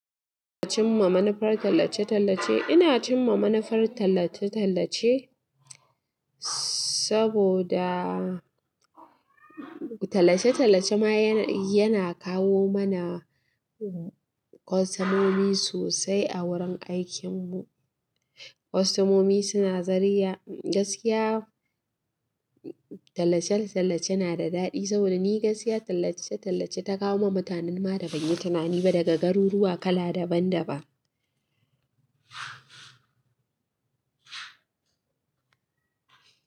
In cimma manufar tallace-tallace, ina cimma manufar tallace-tallace saboda tallace-tallace ma yana kawo mana kwastomomi sosai a wurin aikinmu. Kwastamomi suna zariya, gaskiya tallace-tallace na da dadi saboda ni gaskiya tallace-talllace ta kawo mun mutane ma da ban yi tunanin ma daga garo zuwa kala daban daban.